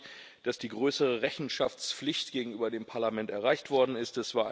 Ich freue mich, dass die größere Rechenschaftsflicht gegenüber dem Parlament erreicht worden ist.